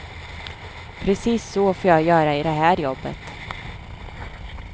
Precis så får jag göra i det här jobbet.